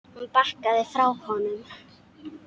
Hún bakkaði frá honum.